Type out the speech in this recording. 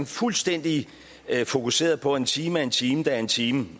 fuldstændig fokuseret på at en time er en time der er en time